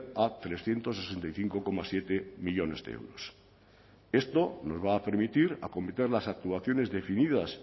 a trescientos sesenta y cinco coma siete millónes de euros esto nos va a permitir acometer las actuaciones definidas